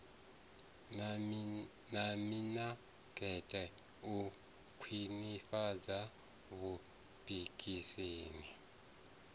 na mimakete u khwinifhadza vhupikisani